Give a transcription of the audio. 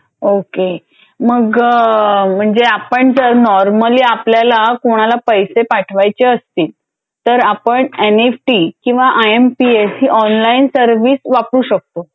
okay मग म्हणजे आपण जर नॉर्मली आपल्याला कोणाला पैसे पाठवायचे असतील तर आपण एन एफ टी किंवा आय एम पी एस ही ऑनलाईन सर्व्हिस वापरू शकतो